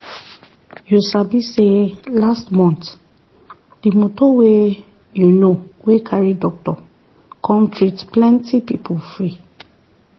you sabi say last month the moto wey you know wey carry doctor come treat plenty people free.